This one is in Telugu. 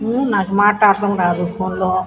నాకు మాట్లాడటం రాదు ఫోన్లో లో --